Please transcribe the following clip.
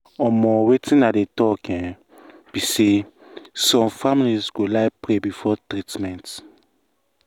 wetin i um dey try talk um be say some families go like pray before treatment. um